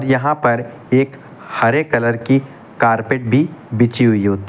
यहां पर एक हरे कलर की कारपेट भी बिछि हुई होती।